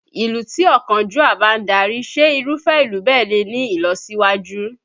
Ìlú tí ọ̀kánjúà bá ń darí, ṣé Irúfẹ́ ìlú bẹ́ẹ̀ lè ní ìlọsíwájú?